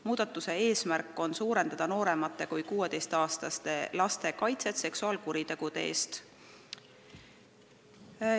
Muudatuse eesmärk on parandada nooremate kui 16-aastaste laste kaitset seksuaalkuritegude eest.